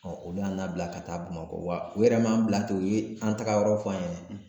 olu y'an labila ka taa Bamakɔ. Wa, u yɛrɛ m'an bila ten u ye an tagayɔrɔ fɔ an ye